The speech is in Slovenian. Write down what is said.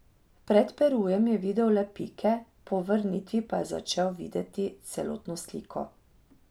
Pred Perujem je videl le pike, po vrnitvi pa je začel videti celotno sliko.